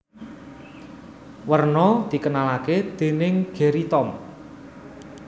Werna dikenalake dening Gerry Tom